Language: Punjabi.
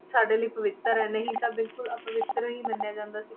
ਸਾਡੇ ਲਈ ਪਵਿੱਤਰ ਹੈ, ਨਹੀਂ ਤਾਂ ਬਿਲਕੁਲ ਅਪਵਿੱਤਰ ਹੀ ਮੰਨਿਆ ਜਾਂਦਾ ਸੀ,